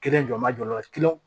Kelen jɔ n ma jɔ o la